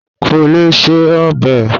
Kò lè se ọbẹ̀